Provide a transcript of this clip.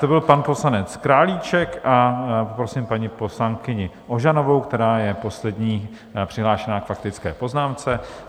To byl pan poslanec Králíček a poprosím paní poslankyni Ožanovou, která je poslední přihlášenou k faktické poznámce.